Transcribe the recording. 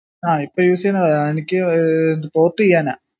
ആഹ് ഇപ്പൊ use ചെയ്യുന്നത്' ഏർ എനിക്ക് ഏർ port ചെയ്യാനാ